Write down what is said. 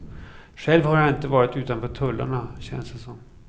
Själv har jag inte varit utanför tullarna, känns det som.